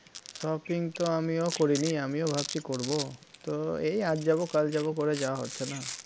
shopping তো আমিও করিনি আমিও ভাবছি করব তো এই আজ যাব কাল যাব করে যাওয়া হচ্ছে না